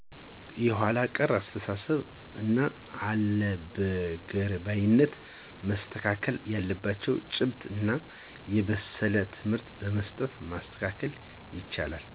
የኃለ ቀር አስተሳሰብ እና አለበገርባይነት። መስተካከል ያለባችው ጭብት እና የበሰለ ትምህርት በመስጠት ማስተካከል ይቻላል